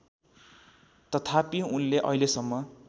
तथापि उनले अहिलेसम्म